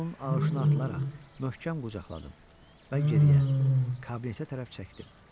Mən onun ağışına atılaraq möhkəm qucaqladım və geriyə, kabinetə tərəf çəkdim.